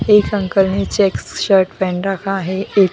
एक अंकल ने checks shirt पहन रखा है। एक --